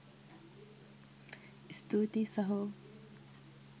ස්තූතියි සහෝ